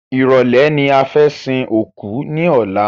Ìrọ̀lẹ́ ni fẹ́ sin òkú ní ọ̀la